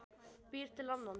Býr til annan.